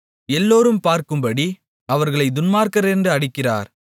எல்லோரும் பார்க்கும்படி அவர்களைத் துன்மார்க்கரென்று அடிக்கிறார்